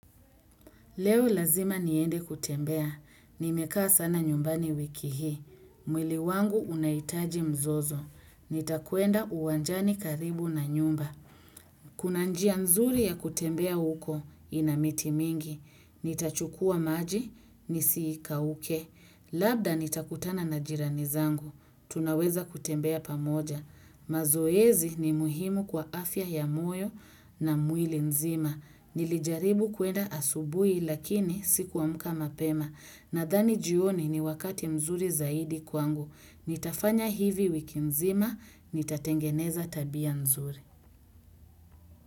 Leo lazima niende kutembea. Nimekaa sana nyumbani wiki hii. Mwili wangu unaitaji mzozo. Nitakuenda uwanjani karibu na nyumba. Kuna njia nzuri ya kutembea uko inamiti mingi. Nitachukua maji, nisikauke. Labda nitakutana na jirani zangu. Tunaweza kutembea pamoja. Mazoezi ni muhimu kwa afya ya moyo na muili nzima nilijaribu kuenda asubui lakini sikuamka mapema na thani jioni ni wakati mzuri zaidi kwangu nitafanya hivi wiki nzima, nitatengeneza tabia nzuri.